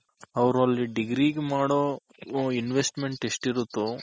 ಅವ್ರು ಅಲ್ degree ಗೆ ಮಾಡೋ Investment ಎಷ್ಟ್ ಇರುತ್ತೋ